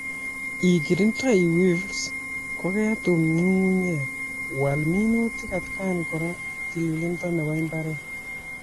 Ikirindoi weevils koketum nyung'unyek, wal minutik atkan kora ak tililindo nebo imbaret